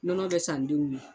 Nɔnɔ bɛ san denw ye.